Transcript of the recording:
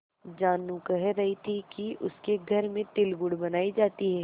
जानू कह रही थी कि उसके घर में तिलगुड़ बनायी जाती है